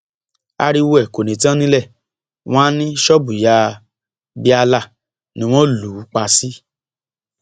ariwo ẹ kò ní tán nílé wọn àá ní ṣọọbù ìyá bíálà ni wọn lù ú pa sí